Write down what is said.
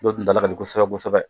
Dɔw dundala ka di kosɛbɛ kosɛbɛ